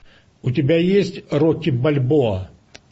у тебя есть рокки бальбоа